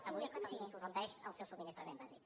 avui se li interromp el seu subministrament bàsic